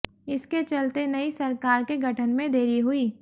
इसके चलते नई सरकार के गठन में देरी हुई